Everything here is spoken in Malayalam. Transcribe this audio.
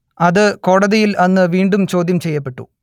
അത് കോടതിയിൽ അന്ന് വീണ്ടും ചോദ്യം ചെയ്യപ്പെട്ടു